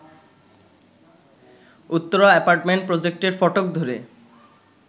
Uttara apartment প্রজেক্টের ফটক ধরে